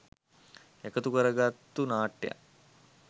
එකතු කරගත්තු නාට්‍යයක්.